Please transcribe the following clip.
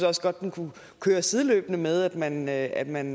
også godt den kunne køre sideløbende med at man at man